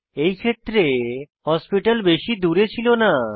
এই ক্ষেত্রে হাসপাতাল বেশি দূরে ছিল না